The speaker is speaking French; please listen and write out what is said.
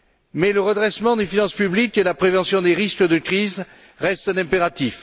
Mais le redressement des finances publiques et la prévention des risques de crise restent un impératif.